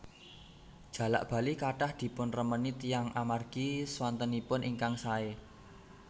Jalak bali kathah dipunremeni tiyang amargi swantenipun ingkang saé